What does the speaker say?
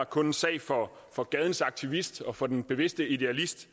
kun en sag for for gadens aktivist og for den bevidste idealist